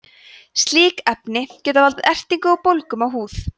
slík efni geta valdið ertingu og bólgum á húð